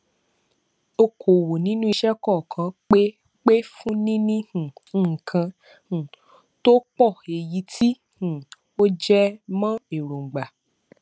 okòòwò nínú iṣẹ kankan pè pè fún níní um nkan um tó pọ èyí tí um ó jẹ mọ èròngbá